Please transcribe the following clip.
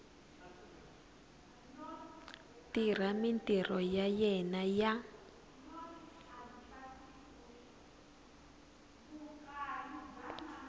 tirha mintirho ya yena ya